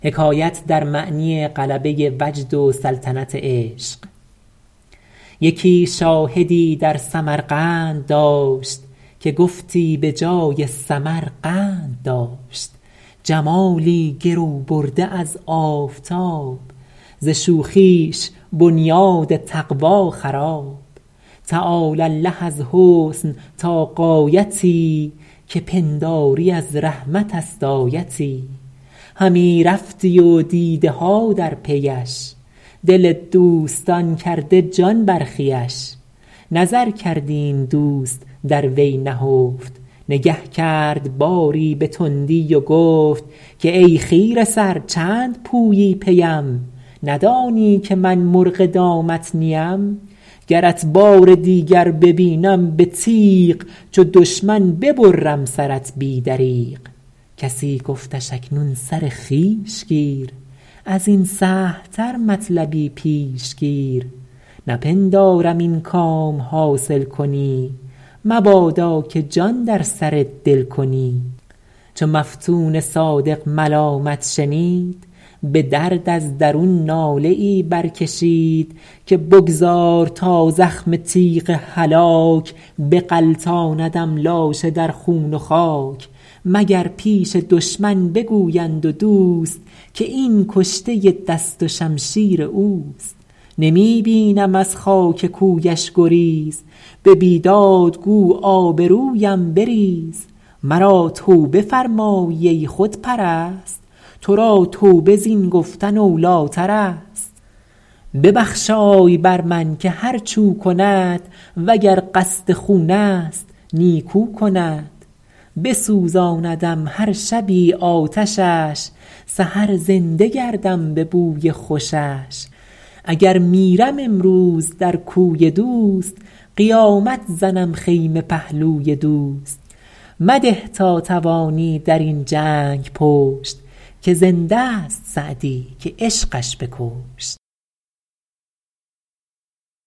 یکی شاهدی در سمرقند داشت که گفتی به جای سمر قند داشت جمالی گرو برده از آفتاب ز شوخیش بنیاد تقوی خراب تعالی الله از حسن تا غایتی که پنداری از رحمت است آیتی همی رفتی و دیده ها در پیش دل دوستان کرده جان برخیش نظر کردی این دوست در وی نهفت نگه کرد باری به تندی و گفت که ای خیره سر چند پویی پیم ندانی که من مرغ دامت نیم گرت بار دیگر ببینم به تیغ چو دشمن ببرم سرت بی دریغ کسی گفتش اکنون سر خویش گیر از این سهل تر مطلبی پیش گیر نپندارم این کام حاصل کنی مبادا که جان در سر دل کنی چو مفتون صادق ملامت شنید به درد از درون ناله ای برکشید که بگذار تا زخم تیغ هلاک بغلطاندم لاشه در خون و خاک مگر پیش دشمن بگویند و دوست که این کشته دست و شمشیر اوست نمی بینم از خاک کویش گریز به بیداد گو آبرویم بریز مرا توبه فرمایی ای خودپرست تو را توبه زین گفت اولی ترست ببخشای بر من که هرچ او کند و گر قصد خون است نیکو کند بسوزاندم هر شبی آتشش سحر زنده گردم به بوی خوشش اگر میرم امروز در کوی دوست قیامت زنم خیمه پهلوی دوست مده تا توانی در این جنگ پشت که زنده ست سعدی که عشقش بکشت